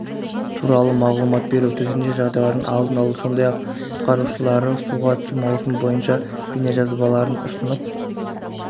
туралы мағұлмат беру төтенше жағдайлардың алдын алу сондай-ақ құтқарушылары суға түсу маусымы бойынша бейнежазбаларын ұсынып